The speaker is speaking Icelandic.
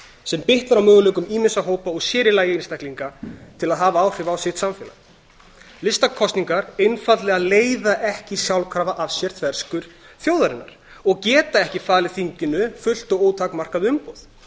sem bitnar á möguleikum ýmissa hópa og sér í lagi einstaklinga til að hafa áhrif á sitt samfélag listakosningar einfaldlega leiða ekki sjálfkrafa af sér þverskurð þjóðarinnar og geta ekki falið þinginu fullt og ótakmarkað umboð